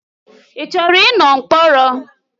Ị chọrọ ịnọ mkpọrọ?